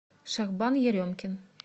шахбан еремкин